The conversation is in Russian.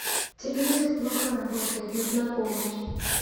телевизор плохо работает нужна помощь